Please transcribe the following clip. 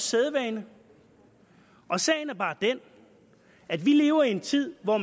sædvanen sagen er bare den at vi lever i en tid hvor